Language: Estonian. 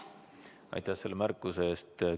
Aitäh selle märkuse eest!